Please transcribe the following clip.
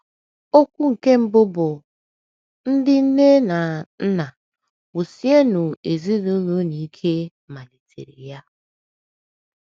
Okwu nke mbụ bụ́, “ Ndị Nne na Nna, Wusienụ Ezinụlọ Unu Ike ” malitere ya.